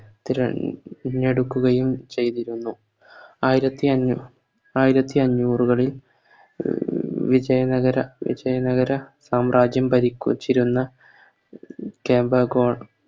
തിര തിരഞ്ഞെടുക്കുകയും ചെയ്തിരുന്നു ആയിരത്തി അഞ്ഞൂ ആയിരത്തി അഞ്ഞൂറുകളിൽ വിജയ നഗര വിജയ നഗര സാമ്രാജ്യം ഭരിക്കുച്ചിരുന്ന കേന്ദ്ര ഗോ